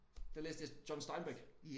Der læste jeg John Steinbeck